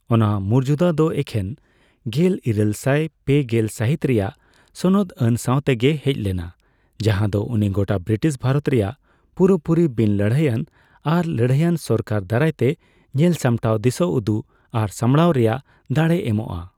ᱚᱱᱟ ᱢᱩᱨᱡᱟᱫᱟ ᱫᱚ ᱮᱠᱷᱮᱱ ᱜᱮᱞᱤᱨᱟᱹᱞ ᱥᱟᱭ ᱯᱮᱜᱮᱞ ᱯᱮ ᱥᱟᱹᱦᱤᱛ ᱨᱮᱭᱟᱜ ᱥᱚᱱᱚᱫᱽ ᱟᱹᱱ ᱥᱟᱣᱛᱮᱜᱮ ᱦᱮᱡ ᱞᱮᱱᱟ, ᱡᱟᱦᱟᱸ ᱫᱚ ᱩᱱᱤ ᱜᱚᱴᱟ ᱵᱨᱤᱴᱤᱥ ᱵᱷᱟᱨᱚᱛ ᱨᱮᱭᱟᱜ ᱯᱩᱨᱟᱹᱯᱩᱨᱤ ᱵᱤᱱ ᱞᱟᱹᱲᱦᱟᱹᱭᱟᱱ ᱟᱨ ᱞᱟᱹᱲᱦᱟᱹᱭᱟᱱ ᱥᱚᱨᱠᱟᱨ ᱫᱟᱨᱟᱭᱛᱮ, ᱧᱮᱞ ᱥᱟᱢᱴᱟᱣ, ᱫᱤᱥᱟᱹ ᱩᱫᱩᱜ ᱟᱨ ᱥᱟᱢᱵᱲᱟᱣ ᱨᱮᱭᱟᱜ ᱫᱟᱲᱮᱭ ᱮᱢᱚᱜᱼᱟ ᱾